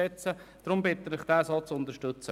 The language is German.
Deshalb bitte ich Sie, den Antrag zu unterstützen.